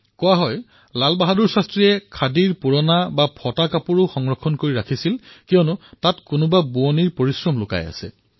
কোৱা হয় যে লাল বাহাদুৰ শাস্ত্ৰীজীয়ে খাদীৰ পুৰণা অথবা ফটাচিটা কাপোৰসমূহো ইমান ভালকৈ থৈছিল কিয়নো তাত কাৰোবাৰ শ্ৰম লুকাই আছে